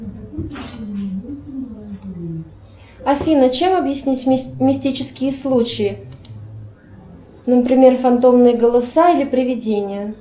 афина чем объяснить мистические случаи например фантомные голоса или приведения